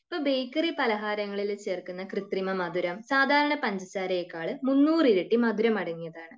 ഇപ്പൊ ബേക്കറി പലഹാരങ്ങളിൽ ചേർക്കുന്ന കൃത്രിമ മധുരം സാധാരണ പഞ്ചസാരയേക്കാൾ മുന്നൂറ് ഇരട്ടി മധുരം അടങ്ങിയതാണ്.